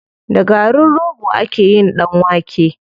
Da garin rogo ake yin ɗan wake.